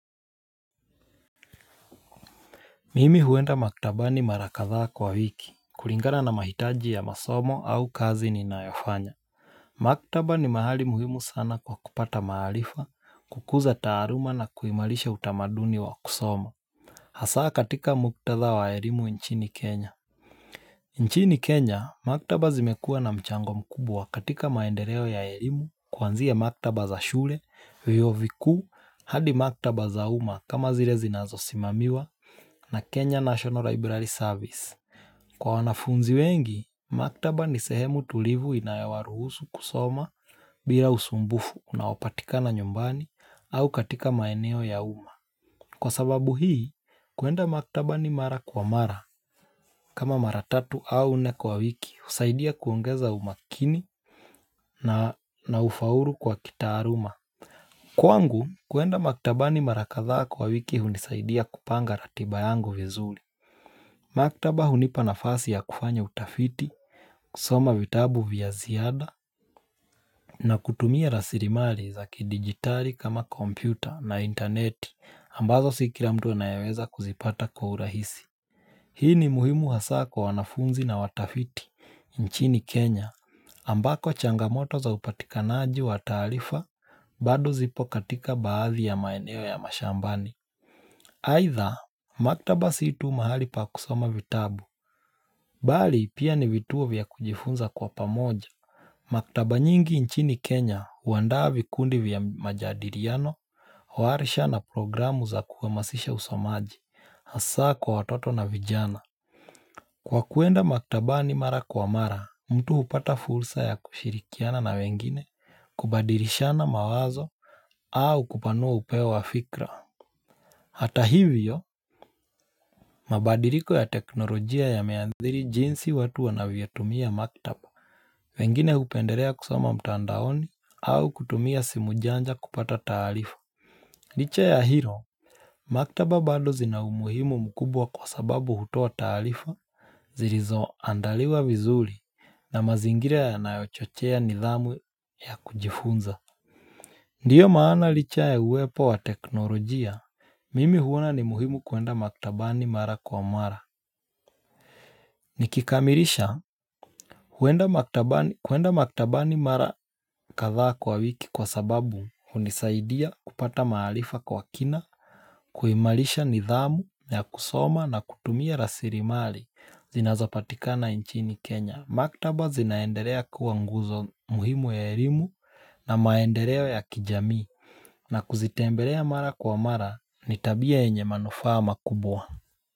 Mimi huenda maktabani mara kadhaa kwa hiki, kulingana na mahitaji ya masomo au kazi ninayofanya Maktaba ni mahali muhimu sana kwa kupata maarifa, kukuza taaluma na kuimarisha utamaduni wa kusoma Hasaa katika muktadha wa elimu nchini Kenya nchini Kenya, maktaba zimekuwa na mchango mkubwa katika maendeleo ya elimu kuanzia maktaba za shule, vyuo vikuu, hadi maktaba za umma kama zile zinazosimamiwa na Kenya National Library Service. Kwa wanafunzi wengi, maktaba ni sehemu tulivu inayowaruhusu kusoma bila usumbufu unaopatikana nyumbani au katika maeneo ya umma kwa sababu hii, kuenda maktaba ni mara kwa mara kama mara tatu au nne kwa wiki, husaidia kuongeza umakini na ufaulu kwa kitaaluma. Kwangu, kuenda maktabani mara kadhaa kwa wiki, hunisaidia kupanga ratiba yangu vizuri Maktaba hunipa nafasi ya kufanya utafiti, kusoma vitabu vya ziada, na kutumia rasilimali za kijigitali kama kompyuta na intaneti ambazo si kila mtu anayeweza kuzipata kwa urahisi. Hii ni muhimu hasaa kwa wanafunzi na watafiti nchini Kenya ambako changamoto za upatikanaji wa taarifa bado zipo katika baadhi ya maeneo ya mashambani. Aidha, maktaba si tu mahali pa kusoma vitabu, bali pia ni vituo vya kujifunza kwa pamoja. Maktaba nyingi nchini Kenya, huandaa vikundi vya majadiliano, warsha na programu za kuhamasisha usomaji, hasaa kwa watoto na vijana. Kwa kuenda maktabani mara kwa mara, mtu hupata fursa ya kushirikiana na wengine, kubadilishana mawazo au kupanua upeo wa fikra. Hata hivyo, mabadiliko ya teknolojia yameathiri jinsi watu wanavyotumia maktaba wengine hupendelea kusoma mtandaoni au kutumia simu janja kupata taarifa Licha ya hilo, maktaba bado zina umuhimu mkubwa kwa sababu hutoa taarifa zilizoandaliwa vizuri na mazingira yanayochochea nidhamu ya kujifunza Ndiyo maana licha ya uwepo wa teknolojia, mimi huona ni muhimu kuenda maktabani mara kwa mara. Nikikamilisha, huenda maktabani mara kadhaa kwa wiki kwa sababu hunisaidia kupata maarifa kwa kina, kuimarisha nidhamu ya kusoma na kutumia rasilimali zinazopatikana nchini Kenya. Maktaba zinaendelea kuwa nguzo muhimu ya elimu na maendeleo ya kijamii na kuzitembelea mara kwa mara ni tabia yenye manufaa makubwa.